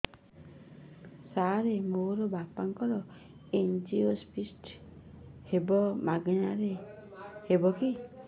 ସାର ମୋର ବାପାଙ୍କର ଏନଜିଓପ୍ଳାସଟି ହେବ ମାଗଣା ରେ ହେବ କି